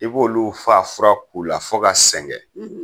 I b'olu faa fura k'u la fo ka sɛngɛ